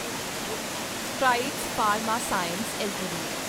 Strides pharma science LTD